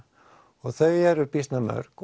og þau eru býsna mörg